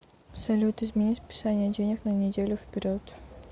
салют измени списания денег на неделю вперед